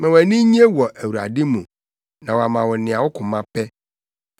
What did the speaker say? Ma wʼani nnye wɔ Awurade mu na wama wo nea wo koma pɛ.